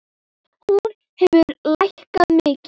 Hún hefur lækkað mikið.